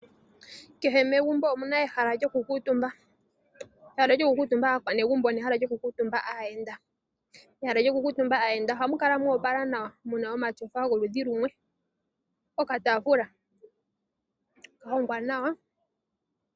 Kehe megumbo omuna ehala lyo kukutumba, ehala lyokukutumba aakwanezimo nehala lyo kukutumba aayenda. Ehala lyo kukutumba aayenda ohamu kala moopala nawa muna omatyofa gomaludhi lumwe , okatafula kahongwa nawa.